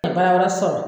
baara wɛrɛ sɔrɔ